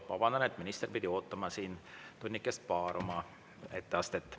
Vabandan, et minister pidi ootama siin tunnikest paar oma etteastet.